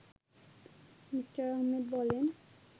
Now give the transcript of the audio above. me: Ahmed বলেন